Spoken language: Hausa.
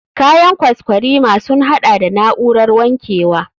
Kayan kwaskwarima sun haɗa da na'urar wankewa.